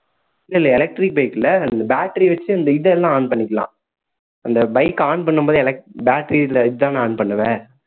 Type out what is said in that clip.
இல்லை இல்லை electric bike ல அந்த battery வச்சு இந்த இதை எல்லாம் on பண்ணிக்கலாம் அந்த bike அ on பண்ணும் போதே elec~ battery ல இதுதான் நான் on பண்ணுவ